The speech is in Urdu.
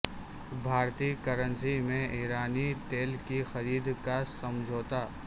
بھارتی کرنسی میں ایرانی تیل کی خرید کا سمجھوتہ